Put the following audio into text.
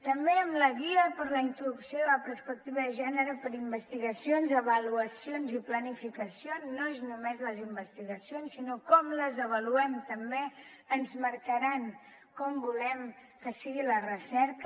també amb la guia per a la introducció de la perspectiva de gènere per a investigacions avaluacions i planificació no són només les investigacions sinó que com les avaluem també ens marcarà com volem que sigui la recerca